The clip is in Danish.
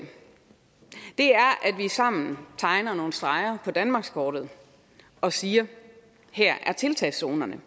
er at vi sammen tegner nogle streger på danmarkskortet og siger at her er tiltagzonerne at